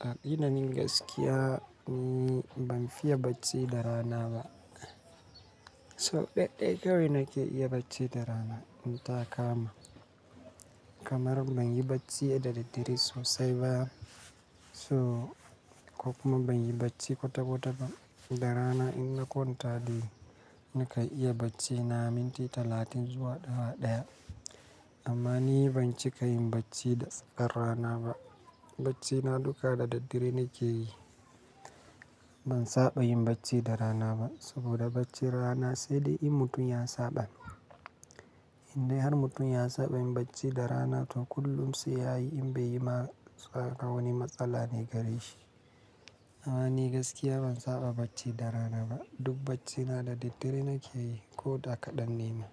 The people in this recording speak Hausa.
a gina na gaskiya ni ban fiya bacci da rana ba. To ɗaɗɗe kawai nake iya bacci da rana in ta kama. Kamar ban yi bacci da daddare sosai ba, so ko kuma ban yi bacci kwata-kwata ba. Da rana in na kwanta dai nakan iya bacci na minti talatin zuwa awa ɗaya. Amma ni ban cika yin bacci da rana ba. Bacci na duka da daddare nake yi. Ban saba yin bacci da rana ba saboda baccin rana sai dai in mutum ya saba. In dai har mutum ya saba yin bacci da rana to kullum sai yayi in bai yi ma wani matsala ne gare shi. Amma ni gaskiya ban saba bacci da rana ba. Duk bacci na da daddare nake yi ko da ka ɗanne ma.